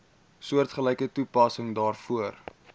soortgelyke toepassing daarvoor